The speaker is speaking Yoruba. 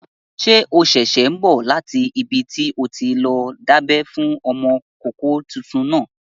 Ṣé o ṣẹ̀ṣẹ̀ n bọ̀ láti ibi tí o ti lọ dábẹ́ fún ọmọkọ́kọ́ tuntun náà?